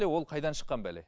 ол қайдан шыққан бәле